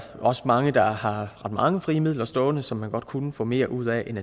også mange der har mange frie midler stående som de godt kunne få mere ud af end